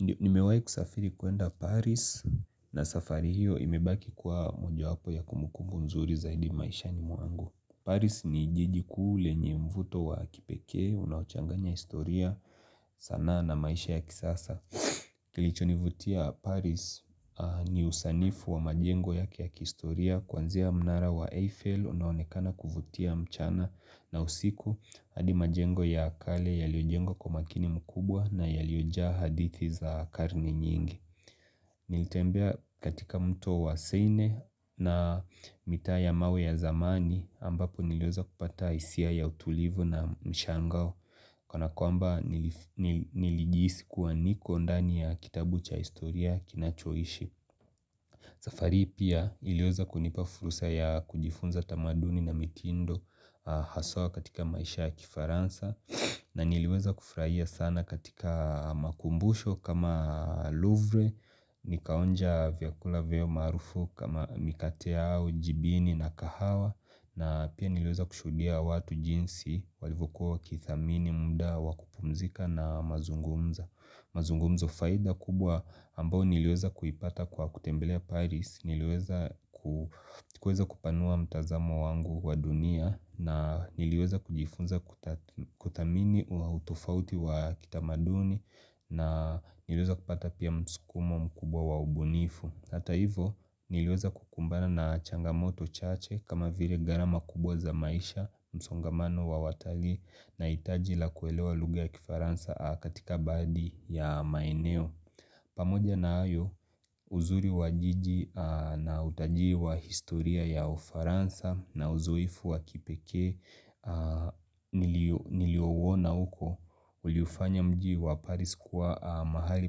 Nimewai kusafiri kuenda Paris na safari hiyo imebaki kwa mojawapo ya kumukumbu mzuri zaidi maishani mwangu. Paris ni jiji klu lenye mvuto wa kipekee, unaochanganya historia sanaa na maisha ya kisasa. Kilichonivutia Paris ni usanifu wa majengo ya kihistoria kuanzia mnara wa Eiffel, unaonekana kuvutia mchana na usiku hadi majengo ya kale yaliojengwa kwa makini mkubwa na yaliyojaa hadithi za karne nyingi Nilitembea katika mto wa seine na mitaa ya mawe ya zamani ambapo niliweza kupata isia ya utulivu na mshangao Kanakwamba nilijihisi kuwa niko ndani ya kitabu cha historia kinachoishi safari hii pia iliweza kunipa fursa ya kujifunza tamaduni na mikindo haswa katika maisha ya kifaransa na niliweza kufurahia sana katika makumbusho kama louvre, nikaonja vyakula vyao maarufu kama mikate yao, jibini na kahawa na pia niliweza kushuhudia watu jinsi walivyokuwa wakithamini muda, wakupumzika na mazungumzo. Mazungomzo faida kubwa ambao niliweza kuipata kwa kutembelea Paris, niliweza kupanua mtazamo wangu wa dunia na niliweza kujifunza kuthamini au utofauti wa kitamaduni na niliweza kupata pia msukumo mkubwa wa ubunifu Hata hivo niliweza kukumbana na changamoto chache kama vire gharama kubwa za maisha msongamano wa watalii na hitaji la kuelewa lugha ya kifaransa katika baadhi ya maeneo pamoja na ayo uzuri wa jiji na utalii wa historia ya ufaransa na uzoefu wa kipekee niliouona uko uliufanya mji wa Paris kuwa mahali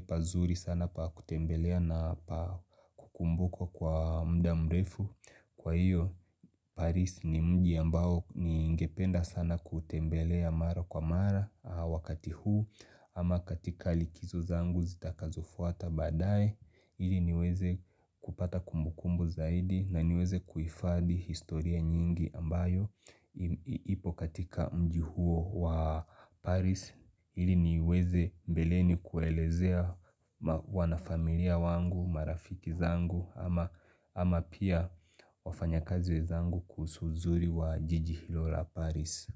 pazuri sana pa kutembelea na kukumbukwa kwa mda mrefu. Kwa hiyo Paris ni mji ambao ningependa sana kutembelea mara kwa mara wakati huu ama katika likizo zangu zitakazofuata badae ili niweze kupata kumbukumbu zaidi na niweze kuifadhi historia nyingi ambayo ipo katika mji huo wa Paris ili niweze mbeleni kuelezea wanafamilia wangu marafiki zangu ama pia wafanyakazi wezangu kuhusu uzuri wa jiji hilo la paris.